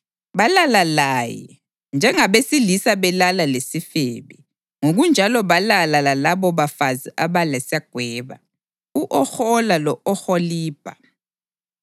Balala laye. Njengabesilisa belala lesifebe, ngokunjalo balala lalabobafazi abalesagweba, u-Ohola lo-Oholibha.